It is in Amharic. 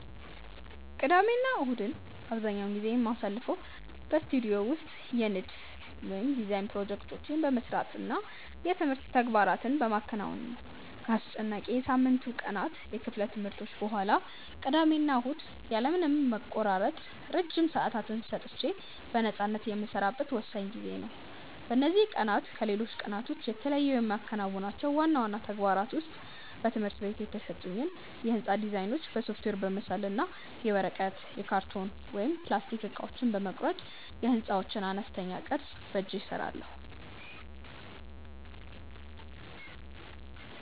ቅዳሜና እሁድን አብዛኛውን ጊዜ የማሳልፈው በስቱዲዮ ውስጥ የንድፍ (Design) ፕሮጀክቶቼን በመስራት እና የትምህርት ተግባራትን በማከናወን ነው። ከአስጨናቂው የሳምንቱ ቀናት የክፍል ትምህርቶች በኋላ፣ ቅዳሜና እሁድ ያለ ምንም መቆራረጥ ረጅም ሰዓታት ሰጥቼ በነፃነት የምሰራበት ወሳኝ ጊዜዬ ነው። በእነዚህ ቀናት ከሌሎች ቀናት የተለዩ የማከናውናቸው ዋና ዋና ተግባራት ውስጥ በትምህርት ቤት የተሰጡኝን የሕንፃ ዲዛይኖች በሶፍትዌር በመሳል እና የወረቀት፣ የካርቶን ወይም የፕላስቲክ እቃዎችን በመቁረጥ የሕንፃዎችን አነስተኛ ቅርፅ በእጄ እሰራለሁ።